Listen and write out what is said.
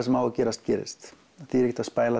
sem á að gerast gerist það þýðir ekkert að